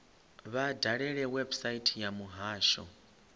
vha dalele website ya muhasho